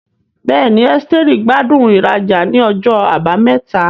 Bẹ́ẹ̀ni, Esteri gbádùn ìrajà ní ọjọ́ Àbámẹ́ta.